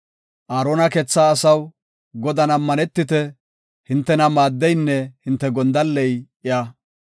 Aarona keetha asaw, Godan ammanetite; hintena maaddeynne hinte gondalley iya.